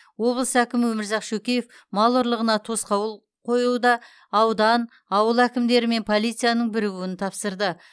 облыс әкімі өмірзақ шөкеев мал ұрлығына тосқауыл қоюда аудан ауыл әкімдері мен полицияның бірігуін тапсырды